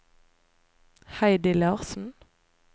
Heidi Larsen